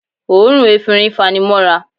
Òórùn efinrin fanimọ́ra